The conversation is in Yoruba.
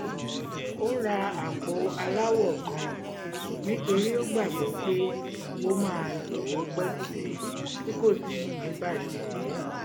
ó ra àpò aláwọ kan nítorí ó gbàgbọ́ pé ó máa lò ó pẹ́ títí tí kò sì ní bàjẹ́